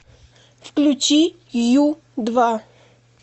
включи ю два